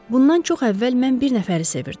Bundan çox əvvəl mən bir nəfəri sevirdim.